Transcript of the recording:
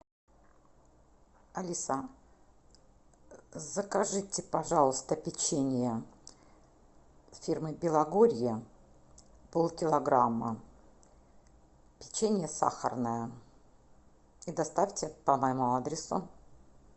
алиса закажите пожалуйста печенье фирмы белогорье пол килограмма печенье сахарное и доставьте по моему адресу